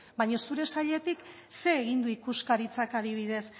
baina zure sailetik zer egin du ikuskaritzak adibidez